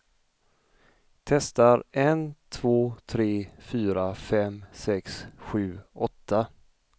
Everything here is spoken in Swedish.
Testar en två tre fyra fem sex sju åtta.